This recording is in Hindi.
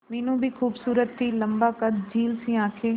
मीनू भी खूबसूरत थी लम्बा कद झील सी आंखें